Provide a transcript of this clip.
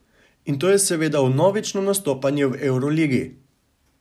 In to je seveda vnovično nastopanje v evroligi.